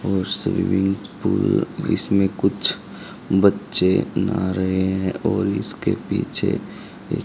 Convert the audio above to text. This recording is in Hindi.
और स्विमिंग पूल इसमें कुछ बच्चे नहा रहे हैं और इसके पीछे एक--